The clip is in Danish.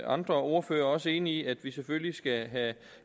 andre ordførere også er enig i at vi selvfølgelig skal have